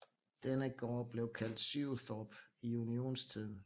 Denne gård blev kaldt Syöthorp i unionstiden